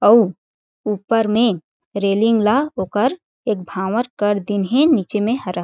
अउ ऊपर में रेलिंग ला ओकर एक भांवर कर दिन हे नीचे में हरा--